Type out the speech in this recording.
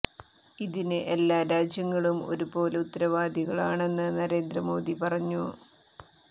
ഇതിന് എല്ലാ രാജ്യങ്ങളും ഒരു പോലെ ഉത്തരവാദികളാണെന്ന് നരേന്ദ്ര മോദി പറഞ്ഞു